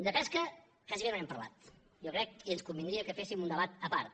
de pesca gairebé no n’hem parlat jo crec i ens convindria que féssim un debat a part